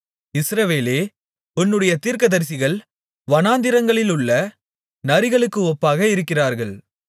இஸ்ரவேலே உன்னுடைய தீர்க்கதரிசிகள் வனாந்திரங்களிலுள்ள நரிகளுக்கு ஒப்பாக இருக்கிறார்கள்